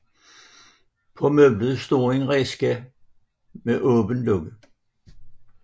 På møblet står en æske med åbent låg